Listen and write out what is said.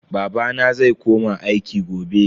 Babana zai koma aiki gobe.